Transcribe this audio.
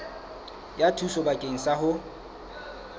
ya thuso bakeng sa ho